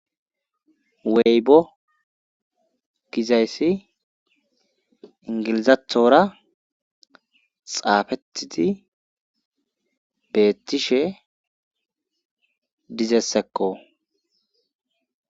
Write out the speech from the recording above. Weybo gizayssi ingilizatora xaafettidi beettishe dizessekko